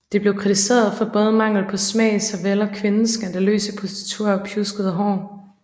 Det blev kritiseret for både mangel på smag såvel og kvindens skandaløse positur og pjuskede hår